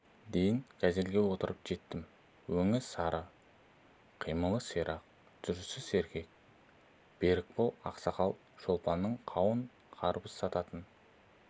дейін газельге отырып жеттім өңі сары қимылы ширақ жүрісі сергек берікбол ақсақал шолпанның қауын-қарбыз сататын